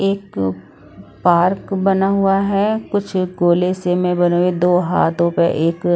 एक पार्क बना हुआ हैं कुछ गोले से मे बने हुए दो हाथों पे एक--